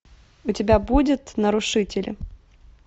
у тебя будет нарушители